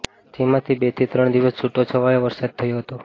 જેમાં બેથી ત્રણ દિવસ છૂટો છવાયો વરસાદ થયો હતો